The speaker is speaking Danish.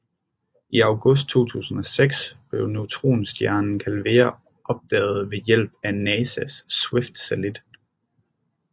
I August 2006 blev neutronstjernen Calvera opdaget ved hjælp af NASAs Swift satellit